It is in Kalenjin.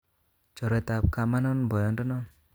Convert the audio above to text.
Chorwetab kamanon boyondonon